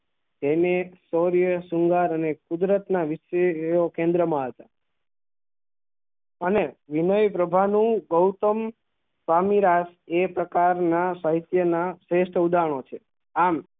તેને શૌર્ય શૃંગાર અને કુદરત ના વિષય તેવો કેન્દ્ર માં હતું અને વિનય પ્રભા નું ગૌતમ સ્વામી એ પ્રકાર ના સહિત્ય ના શ્રેષ્ઠ ઉદાહરણો છે આમ